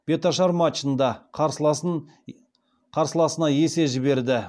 беташар матчында қарсыласына есе жіберді